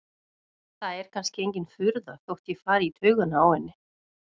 Það er kannski engin furða þótt ég fari í taugarnar á henni.